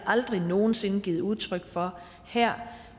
aldrig nogen sinde givet udtryk for her